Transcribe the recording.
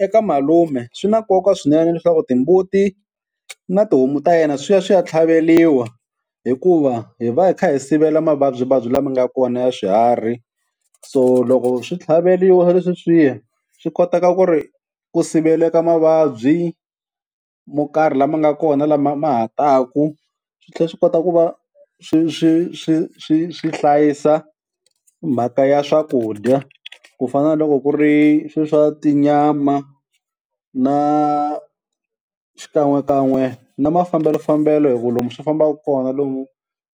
eka malume swi na nkoka swinene leswaku timbuti na tihomu ta yena swi ya swi ya tlhaveliwa hikuva hi va hi kha hi sivela mavabyivabyi lama nga kona ya swiharhi, so loko swi tlhaveliwa sweswiya swi koteka ku ri ku siveleka mavabyi mo karhi lama nga kona lama ma ha taku, swi tlhela swi kota ku va swi swi swi swi swi hlayisa mhaka ya swakudya ku fana na loko ku ri swe swa tinyama na xikan'wekan'we na mafambelofambelo hi ku lomu swi fambaka kona lomu